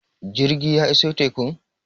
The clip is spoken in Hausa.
jirgi ya iso tekun?